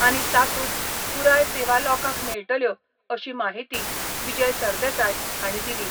आनी तातूंत पुराय सेवा लोकांक मेळटल्यो अशी माहिती विजय सरदेसाय हांणी दिली.